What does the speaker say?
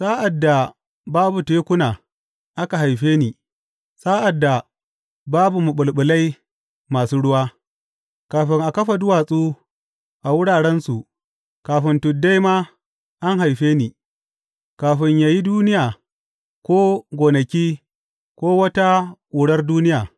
Sa’ad da babu tekuna, aka haife ni, sa’ad da babu maɓulɓulai masu ruwa; kafin a kafa duwatsu a wurarensu, kafin tuddai ma, an haife ni, kafin ya yi duniya ko gonaki ko wata ƙurar duniya.